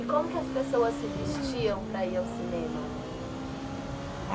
E como que as pessoas se vestiam para ir ao cinema?